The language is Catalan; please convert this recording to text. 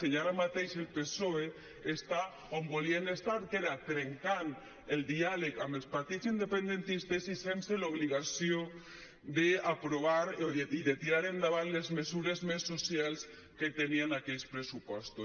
i ara mateix el psoe està on volien estar que era trencant el diàleg amb els partits independentistes i sense l’obligació d’aprovar i de tirar endavant les mesures més socials que tenien aquells pressupostos